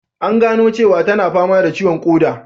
An gano cewa tana fama da ciwon koda